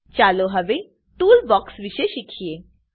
ચાલો હવે ટૂલબોક્સ વિષે શીખીએ